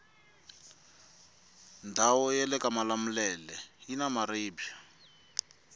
ndawu yalekamalamulele yina maribwe